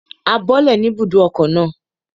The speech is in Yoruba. A bọ́lẹ̀ ní ibùdókọ̀ náà